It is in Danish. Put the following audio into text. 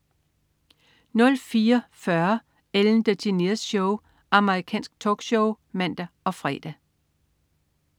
04.40 Ellen DeGeneres Show. Amerikansk talkshow (man og fre)